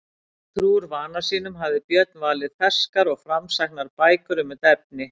Trúr vana sínum hafði Björn valið ferskar og framsæknar bækur um þetta efni.